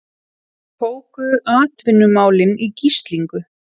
Tóku atvinnumálin í gíslingu